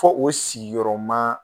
Ko o sigiyɔrɔma